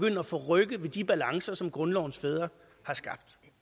at forrykke de balancer som grundlovens fædre har skabt